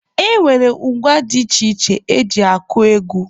E nwere ngwa dị iche iche eji akụ egwu.